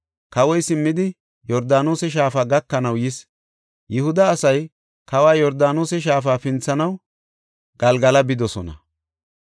Kawoy simmidi, Yordaanose shaafa gakanaw yis. Yihuda asay kawa Yordaanose shaafa pinthanaw Galgala bidosona.